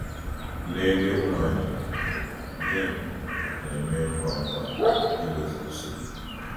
N’ebe ụmụ anyị nọ, di m na -eme ngwa ngwa idozi nsogbu.